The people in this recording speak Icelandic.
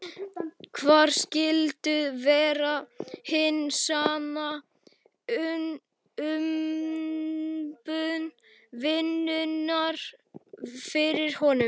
Hver skyldi vera hin sanna umbun vinnunnar fyrir honum?